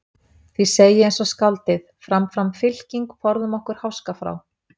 Því segi ég eins og skáldið: Fram fram fylking, forðum okkur háska frá.